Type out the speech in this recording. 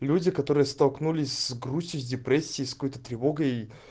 люди которые столкнулись с грустью с депрессией с какой-то тревогой